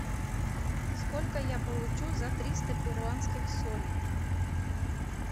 сколько я получу за триста перуанских солей